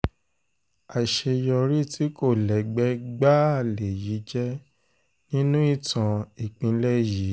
àṣeyọrí tí kò lẹ́gbẹ́ gbáà lèyí jẹ́ nínú ìtàn ìpínlẹ̀ yìí